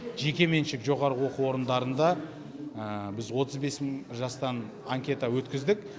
жекеменшік жоғарғы оқу орындарында біз отыз бес мың жастан анкета өткіздік